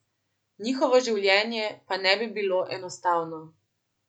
Njihovo življenje pa ne bi bilo enostavno.